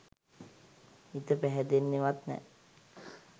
හිත පැහැදෙන්නෙවත් නෑ